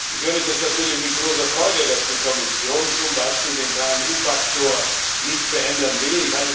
Ich höre das natürlich mit großer Freude, dass die Kommission zum Beispiel den KMU Faktor nicht verändern will.